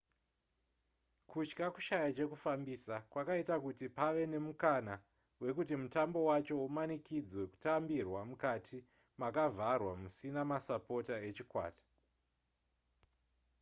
kutya kushaya chekufambisa kwakaita kuti pave nemukana wekuti mutambo wacho umanikidzwe kutambirwa mukati makavharwa musina masapota echikwata